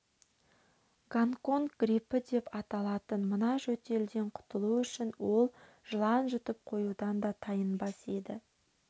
гонконг грипі деп аталатын мына жөтелден құтылу үшін ол жылан жұтып қоюдан да тайынбас еді